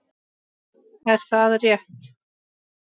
Er það rétt??